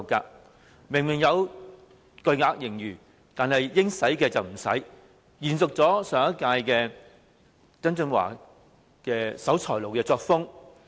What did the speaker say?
政府明明有巨額盈餘，但應用的卻不用，延續上任司長曾俊華的"守財奴"作風。